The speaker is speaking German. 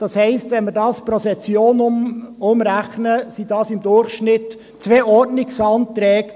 Das heisst: Wenn man pro Session umrechnet, sind es im Durchschnitt 2 Ordnungsanträge.